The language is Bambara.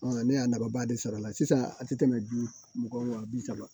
Ɔ ne y'a nafaba de sɔrɔ a la sisan a tɛ tɛmɛ duwɔ bi saba